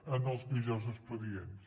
en els millors expedients